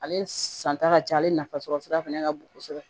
Ale san ta ka ca ale nafasɔrɔ sira fɛnɛ ka bon kosɛbɛ